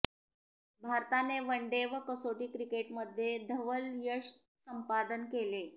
भारताने वनडे व कसोटी क्रिकेटमध्ये धवल यश संपादन केले